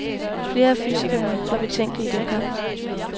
Flere af fysikerne var betænkelige dengang.